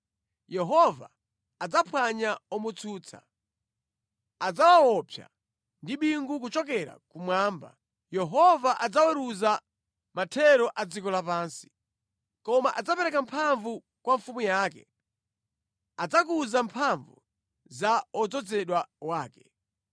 Yehova adzaphwanya omutsutsa. Adzawaopsa ndi bingu kuchokera kumwamba; Yehova adzaweruza mathero a dziko lapansi. “Koma adzapereka mphamvu kwa mfumu yake, adzakuza mphamvu za odzozedwa wake.”